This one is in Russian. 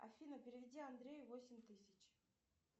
афина переведи андрею восемь тысяч